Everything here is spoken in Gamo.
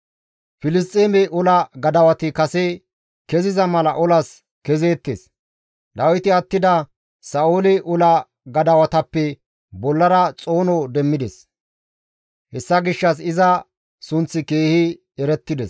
Filisxeeme ola gadawati kase keziza mala olas kezeettes; Dawiti attida Sa7oole ola gadawatappe bollara xoono demmides; hessa gishshas iza sunththi keehi erettides.